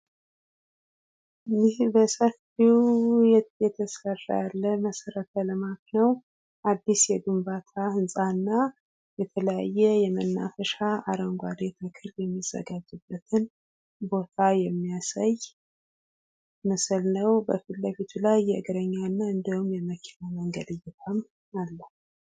ይህ በሰፊው እየተሰራ ያለ መሰረተ ልማት ነው። አዲስ የግንባታ ህንፃ እና የተለያየ የመናፈሻ አረንጓዴ ተክል የሚዘጋጅበትን ቦታ የሚያሳይ ምስል ነው። በፊትለፊቱ ላይ የእግረኛ እና እንዲሁም የመኪና መንገድ እይታም አለው።